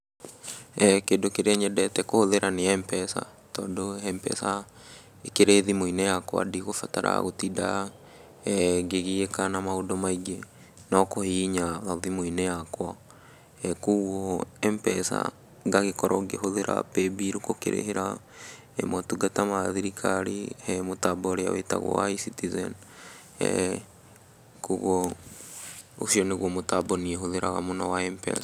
Kĩndũ kĩrĩa nyendete kũhũthĩra nĩ Mpesa, tondũ Mpesa ĩkĩrĩ thimũ-inĩ yakwa, ndĩgũbatara gũtinda ngĩgiĩka na maũndũ maingĩ, no kũhihinya o thimũ-inĩ yakwa, kũgwo Mpesa ngagĩkorwo ngĩhũthĩra Paybill gũkĩrĩhĩra motungata ma thirikari he mũtambo ũrĩa wĩtagwo wa E-Citizen, eh ũcio nĩgwo mũtambo niĩ hũthĩraga mũno wa Mpesa.